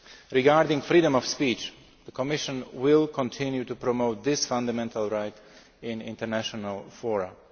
Regarding freedom of speech, the Commission will continue to promote this fundamental right in international forums.